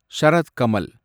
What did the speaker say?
Sharad Kamal